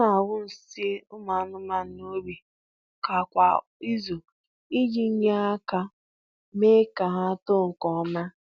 A na-awụ nsị ụmụ anụmanụ n'ubi ọka kwa izu iji nye aka mee ka ha too nke ọma